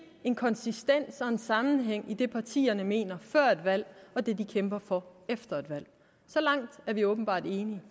en konsistens og en sammenhæng i det partierne mener før et valg og det de kæmper for efter et valg så langt er vi åbenbart enige